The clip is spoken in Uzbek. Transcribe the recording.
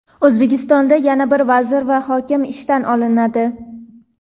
O‘zbekistonda yana bir vazir va hokim ishdan olinadi.